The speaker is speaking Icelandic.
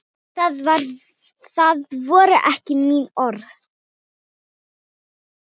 Það voru ekki mín orð